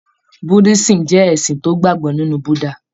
Buddhism jẹ́ ẹ̀sìn tó gbàgbó nínú Buddha